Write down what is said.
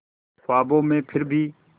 ख्वाबों में फिर भी